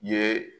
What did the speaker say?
Ye